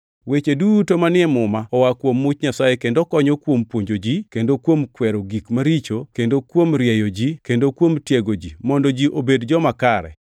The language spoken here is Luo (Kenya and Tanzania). Weche duto manie Muma oa kuom much Nyasaye kendo konyo kuom puonjo ji, kendo kuom kwero gik maricho, kendo kuom rieyo ji, kendo kuom tiego ji mondo ji obed joma kare,